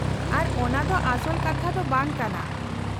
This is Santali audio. -ᱟᱨ ᱚᱱᱟ ᱫᱚ ᱟᱥᱚᱞ ᱠᱟᱛᱷᱟ ᱫᱚ ᱵᱟᱝ ᱠᱟᱱᱟ ᱾